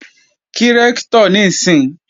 Kí Rẹ́ktọ̀ níìsín!